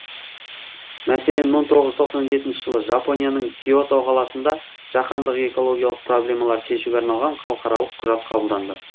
мәселен мың тоғыз жүз тоқсан жетінші жылы жапонияның киото қаласында жаһандық экологиялық проблемаларды шешуге арналған халықаралық құжат қабылданды